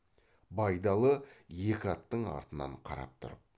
байдалы екі аттың артынан қарап тұрып